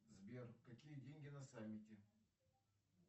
сбер какие деньги на саммите